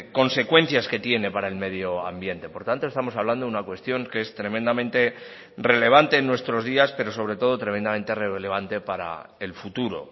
consecuencias que tiene para el medio ambiente por tanto estamos hablando de una cuestión que es tremendamente relevante en nuestros días pero sobre todo tremendamente relevante para el futuro